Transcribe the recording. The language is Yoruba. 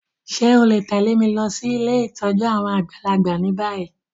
Ṣe o le tẹ̀lé mi losí ilé ìtójú àwon àgbàlagbà ni bayi?